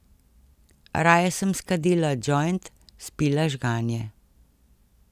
Raje sem skadila džojnt, spila žganje.